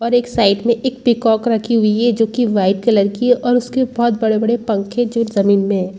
और एक साइड में एक पिकॉक रखी हुई है जो की वाइट कलर की है और उसके बहुत बड़े - बड़े पंखे जो जमीन में है।